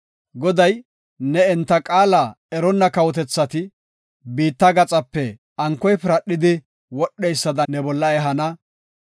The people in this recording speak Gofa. Goday ne enta qaala eronna kawotethata, biitta gaxape ankoy piradhidi wodheysada ne bolla ehana.